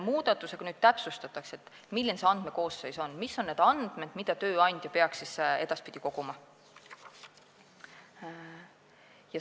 Muudatusega nüüd täpsustatakse, milline on see andmekoosseis, mis on need andmed, mida tööandja peaks edaspidi koguma.